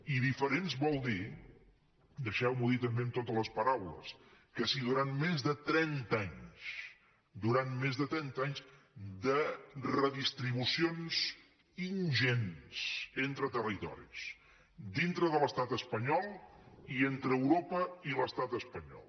i diferents vol dir deixeu m’ho dir també amb totes les paraules que si durant més de trenta anys durant més de trenta anys de redistribucions ingents entre territoris dintre de l’estat espanyol i entre europa i l’estat espanyol